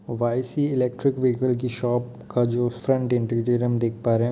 YC. Electric vehicle की shop का जो फ्रंट इंटीरियर हम देख पा रहे है।